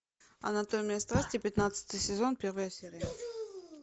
анатомия страсти пятнадцатый сезон первая серия